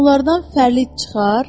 Onlardan fərli çıxar?